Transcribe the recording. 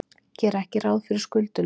Gera ekki ráð fyrir skuldunum